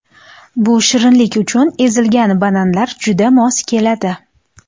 Bu shirinlik uchun ezilgan bananlar juda mos keladi.